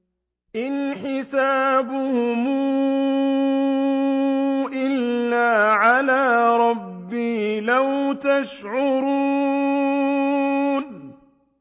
إِنْ حِسَابُهُمْ إِلَّا عَلَىٰ رَبِّي ۖ لَوْ تَشْعُرُونَ